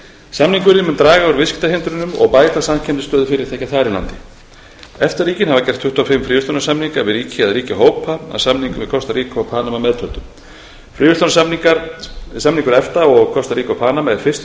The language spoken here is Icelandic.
samningurinn mun draga úr viðskiptahindrunum og bæta samkeppnisstöðu fyrirtækja þar í landi efta ríkin hafa gert tuttugu og fimm fríverslunarsamninga við ríki eða ríkjahópa að samningnum við kostaríka og panama meðtöldum fríverslunarsamningur efta við kostaríka og panama er fyrsti